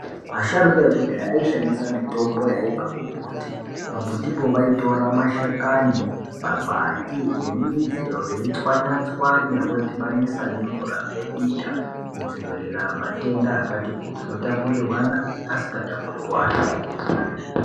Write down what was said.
Vasharuka ekudhaya aishandisa mitombo yaibva kumumbuti pamumbutipo vashandisa mashakani, makwati nemidzi veitsvanya-tsvanya veidhibanisa nemvura veidita kudzivirira matenda ano tapurirwana neasinga tapurirrwani